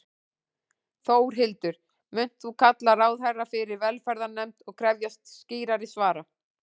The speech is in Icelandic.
Þórhildur: Munt þú kalla ráðherra fyrir velferðarnefnd og krefjast skýrari svara?